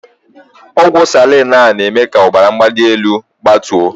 Ọgwụ salaịn aa na- eme k'ọbara mgbalị enu gbatuo.